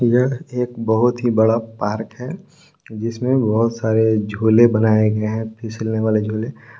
यह एक बहुत ही बड़ा पार्क है जिसमे बहोत सारे झूले बनाए गए है फिसलने वाले झूले।